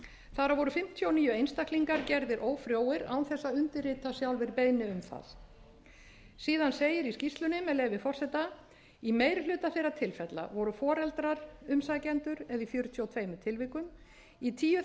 þar af voru fimmtíu og níu einstaklingar gerðir ófrjóir án þess að undirrita sjálfir beiðni um það síðan segir í skýrslunni með leyfi forseta í meiri hluta þeirra tilfella voru foreldrar umsækjendur eða í fjörutíu og tveimur tilvikum í tíu þeirra